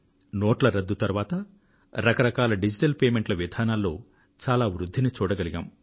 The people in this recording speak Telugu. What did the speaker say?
నోట్ల రద్దు తరువాత రకరకాల డిజిటల్ చెల్లింపుల విధానాలలో చాలా వృద్ధిని చూడగలిగాం